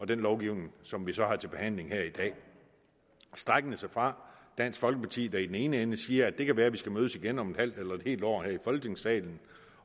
den lovgivning som vi så har til behandling her i dag strækkende sig fra dansk folkeparti der i den ene ende siger at det kan være at vi skal mødes igen om et halvt eller et helt år her i folketingssalen